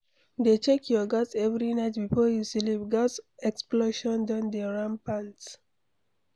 Dey check your gas every night before you sleep, gas explosion don dey rampant